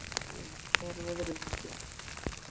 Annabella, hvernig er veðrið úti?